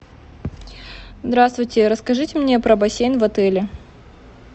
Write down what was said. здравствуйте расскажите мне про бассейн в отеле